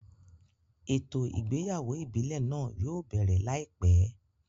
Ètò ìgbéyàwó ìbílẹ̀ náà yóò bẹ̀rẹ̀ láìpẹ́